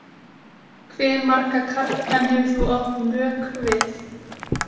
Hve marga karlmenn hefur þú átt mök við?